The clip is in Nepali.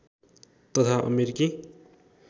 तथा अमेरिकी